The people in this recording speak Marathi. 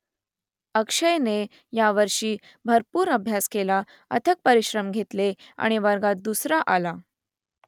अक्षयने यावर्षी भरपूर अभ्यास केला अथक परिश्रम घेतले आणि वर्गात दुसरा आला